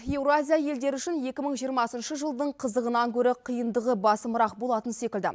еуразия елдері үшін екі мың жиырмасыншы жылдың қызығынан гөрі қиындығы басымырақ болатын секілді